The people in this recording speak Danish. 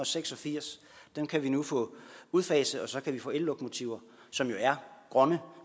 seks og firs dem kan vi nu få udfaset og så kan vi få ellokomotiver som jo er grønne